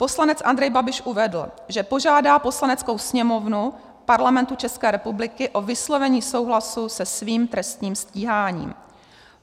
Poslanec Andrej Babiš uvedl, že požádá Poslaneckou sněmovnu Parlamentu České republiky o vyslovení souhlasu se svým trestním stíháním.